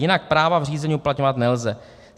Jinak práva v řízení uplatňovat nelze.